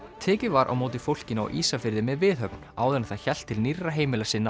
tekið var á móti fólkinu á Ísafirði með viðhöfn áður en það hélt til nýrra heimila sinna